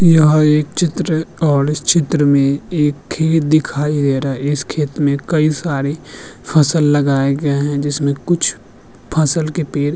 यह एक चित्र और इस चित्र में एक खेत दिखाई दे रहा है। इस खेत में कई सारे फसल लगाये गए हैं। जिसमें कुछ फसल के पेड़ --